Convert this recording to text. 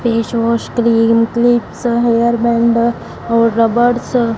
face wash cream clips hair band और rubbers --